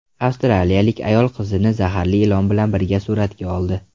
Avstraliyalik ayol qizini zaharli ilon bilan birga suratga oldi.